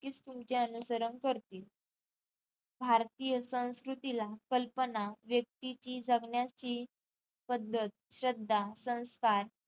नक्कीच तुमचे अनुसरण करतील भारतीय संस्कृतीला कल्पना व्येक्तीची जगण्याची पद्धत, श्रद्धा, संस्कार